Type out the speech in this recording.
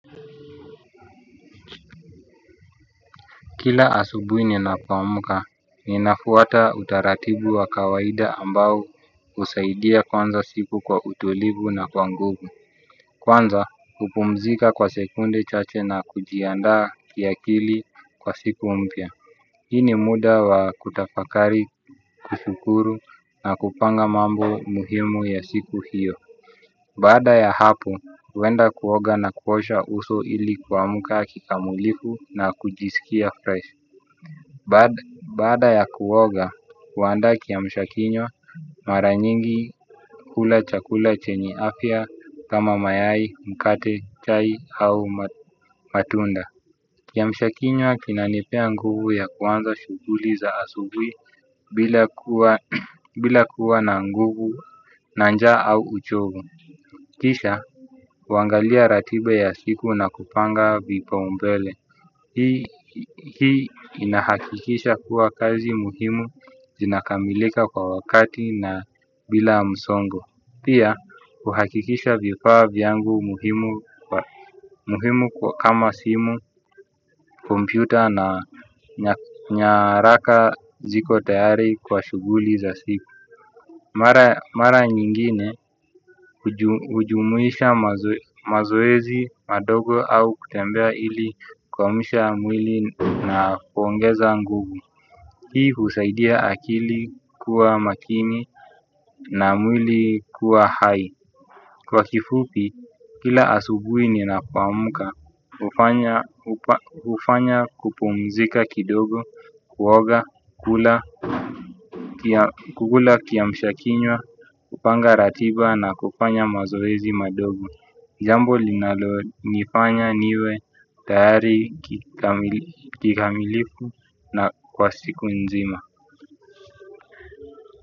Kila asubuhi ninapoamka, ninafuata utaratibu wa kawaida ambao usaidia kwanza siku kwa utulivu na kwa nguvu. Kwanza, kupumzika kwa sekunde chache na kujiandaa kiakili kwa siku mpya. Hii ni muda wa kutafakari, kushukuru na kupanga mambo muhimu ya siku hiyo. Baada ya hapo, huwenda kuoga na kuosha uso ili kuamka kikamulifu na kujisikia fresh. Baada ya kuoga, wandae kiamshakinywa mara nyingi, hula chakula chenya afya, kama mayai, mkate, chai au matunda. Kiamshakinywa kinanipea nguvu ya kuanza shughuli za asubuhi bila kuwa na nguvu na njaa au uchovu. Kisha, wangalia ratiba ya siku na kupanga vipaumbele. Hii, inahakikisha kuwa kazi muhimu inakamilika kwa wakati na bila msongo. Pia, huhakikisha vipaa vyangu muhimu. Kwa kama simu, kompyuta na nyaraka ziko tayari kwa shughuli za siku. Mara nyingine, hujumuisha mazoezi madogo au kutembea ili, kuamsha mwili na kuongeza nguvu. Hii husaidia akili kuwa makini na mwili kuwa hai. Kwa kifupi, kila asubuhi ninapo amka hufanya ufanya kupumzika kidogo, kuoga, kula kugula kiamshakinywa, hupanga ratiba na kupanya mazoezi madogo. Jambo linalo nifanya niwe tayari. Kikamiliku na kwa siku nzima.